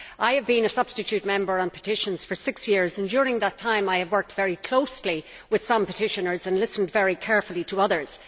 I have been a substitute member of the Committee on Petitions for six years and during that time, I have worked very closely with some petitioners and listened very carefully to others.